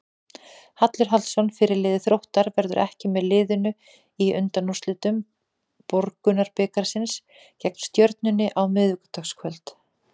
Hallur Hallsson, fyrirliði Þróttar, verður ekki með liðinu í undanúrslitum Borgunarbikarsins gegn Stjörnunni á miðvikudagskvöld.